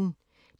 DR P1